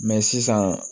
sisan